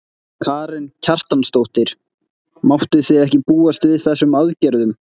Karen Kjartansdóttir: Máttuð þið ekki búast við þessum aðgerðum?